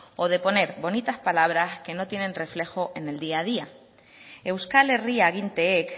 o de poner bonitas palabras que no tienen reflejo en el día a día euskal herria aginteek